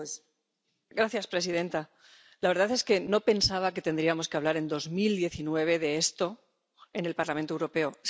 Señora presidenta, la verdad es que no pensaba que tendríamos que hablar en 2019 de esto en el Parlamento Europeo.